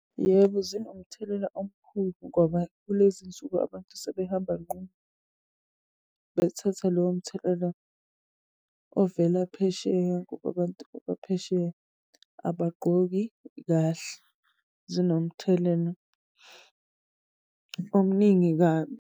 Yebo, zinomthelela omkhulu ngoba kulezi nsuku abantu sebehamba nqunu. Bethathe lowo mthelela ovela phesheya ngoba abantu abaphesheya abagqoki kahle. Zinomthelela omningi kabi.